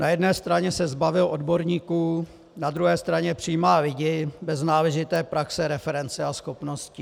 Na jedné straně se zbavil odborníků, na druhé straně přijímá lidi bez náležité praxe, reference a schopností.